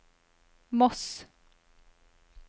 Moss